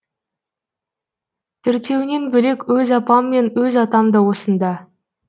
төртеуінен бөлек өз апам мен өз атам да осында